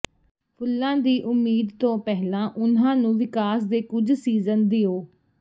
ਫੁੱਲਾਂ ਦੀ ਉਮੀਦ ਤੋਂ ਪਹਿਲਾਂ ਉਨ੍ਹਾਂ ਨੂੰ ਵਿਕਾਸ ਦੇ ਕੁੱਝ ਸੀਜ਼ਨ ਦਿਓ